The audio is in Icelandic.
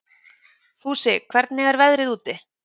Fúsi, hvernig er veðrið úti?